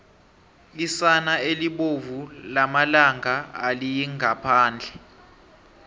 isana elibolu lomalanga aliyingaphandle